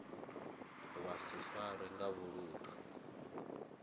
vha si farwe nga vhuludu